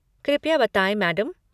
कृपया बताएँ मैडम।